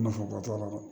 Nafaba t'a la